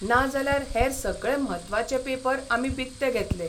नाजाल्यार हेर सगळे म्हत्वाचे पेपर आमी बिकते घेतले.